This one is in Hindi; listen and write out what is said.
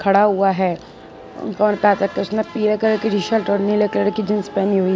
पड़ा हुआ है और राधा कृष्ण पीले कलर की टी शर्ट और नीले कलर की जींस पहनी हुई है।